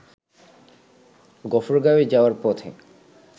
গফরগাওঁয়ে যাওয়ার পথে